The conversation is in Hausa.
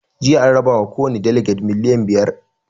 Jiya an raba ma kowani daleges miliyan biyar